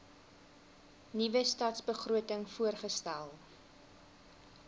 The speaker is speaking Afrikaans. nuwe stadsbegroting voorgestel